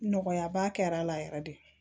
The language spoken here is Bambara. Nɔgɔya ba kɛra a la yɛrɛ de